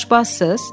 Siz aşbazsız?